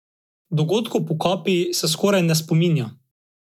Dogodkov po kapi se skoraj ne spominja.